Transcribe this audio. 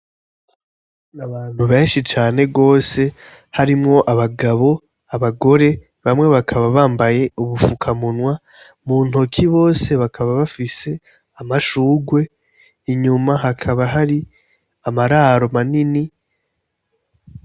Abantu benshi cane rwose harimwo abagabo abagore bamwe bakaba bambaye udupfukamunwa mu ntoki bose bakaba bafise amashugwe inyuma hakaba hari amararo manini.